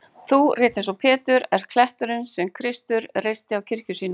Þú, rétt eins og Pétur,-ert kletturinn sem Kristur reisti á kirkju sína.